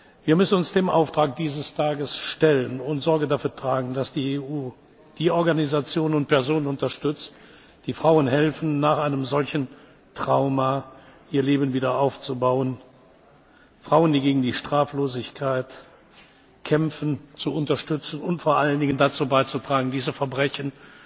begangen. Wir müssen uns dem Auftrag dieses Tages stellen und Sorge dafür tragen, dass die EU die Organisationen und Personen unterstützt, die Frauen helfen, nach einem solchen Trauma ihr Leben wieder aufzubauen, Frauen, die gegen die Straflosigkeit kämpfen, zu unterstützen und vor allem dazu beizutragen, diese